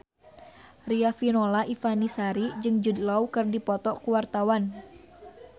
Riafinola Ifani Sari jeung Jude Law keur dipoto ku wartawan